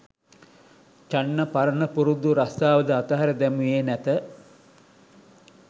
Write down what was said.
චන්න පරණ පුරුදු රස්‌සාවද අතහැර දැමුවේ නැත.